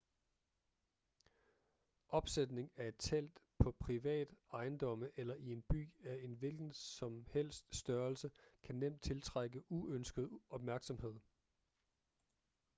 opsætning af et telt på privat ejendomme eller i en by af en hvilken som helst størrelse kan nemt tiltrække uønsket opmærksomhed